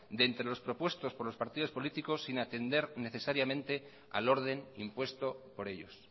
de entre los propuestos por los partidos políticos sin atender necesariamente al orden impuesto por ellos